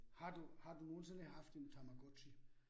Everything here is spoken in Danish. Har du har du nogensinde haft en Tamagotchi?